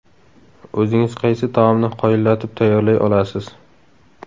O‘zingiz qaysi taomni qoyillatib tayyorlay olasiz?